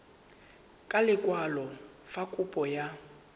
ka lekwalo fa kopo ya